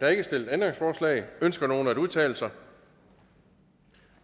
er ikke stillet ændringsforslag ønsker nogen at udtale sig